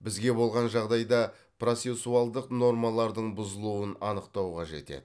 бізге болған жағдайда процессуалдық нормалардың бұзылуын анықтау қажет еді